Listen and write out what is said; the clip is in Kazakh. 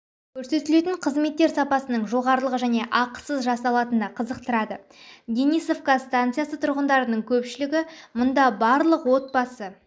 көрсетілетін қызметтер сапасының жоғарылығы және ақысыз жасалатыны қызықтырады денисовка станциясы тұрғындарының көпшілігі мұнда барлық отбасы